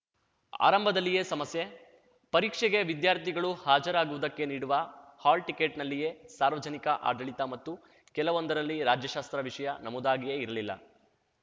ಆರಂಭದಲ್ಲಿಯೇ ಸಮಸ್ಯೆ ಪರೀಕ್ಷೆಗೆ ವಿದ್ಯಾರ್ಥಿಗಳು ಹಾಜರಾಗುವುದಕ್ಕೆ ನೀಡುವ ಹಾಲ್‌ಟಿಕೆಟ್‌ನಲ್ಲಿಯೇ ಸಾರ್ವಜನಿಕ ಆಡಳಿತ ಮತ್ತು ಕೆಲವೊಂದರಲ್ಲಿ ರಾಜ್ಯಶಾಸ್ತ್ರ ವಿಷಯ ನಮೂದಾಗಿಯೇ ಇರ್ಲಿಲ್ಲ